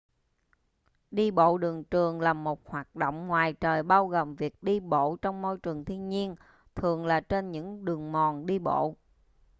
đi bộ đường trường là một hoạt động ngoài trời bao gồm việc đi bộ trong môi trường thiên nhiên thường là trên những đường mòn đi bộ